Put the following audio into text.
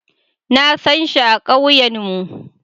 Na sanshi a kauyen mu.